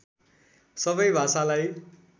सबै भाषालाई